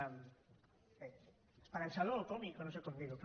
bé esperançador o còmic o no sé com dir ho